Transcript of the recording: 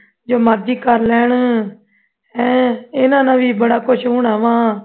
ਜੋ ਮਰਜ਼ੀ ਕਰ ਲੈਣ ਹੈਂ ਇਨ੍ਹਾਂ ਨਾਲ ਵੀ ਬੜਾ ਕੁੱਝ ਸੁਣਾਵਾਂ